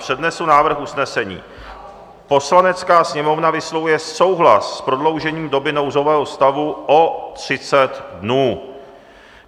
Přednesu návrh usnesení: "Poslanecká sněmovna vyslovuje souhlas s prodloužením doby nouzového stavu o 30 dnů."